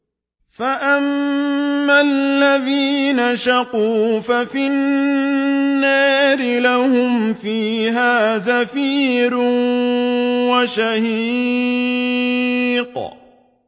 فَأَمَّا الَّذِينَ شَقُوا فَفِي النَّارِ لَهُمْ فِيهَا زَفِيرٌ وَشَهِيقٌ